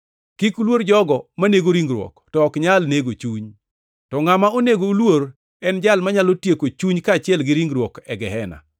Kik uluor jogo manego ringruok to ok nyal nego chuny. To ngʼama onego uluor en Jal manyalo tieko chuny kaachiel gi ringruok e gehena.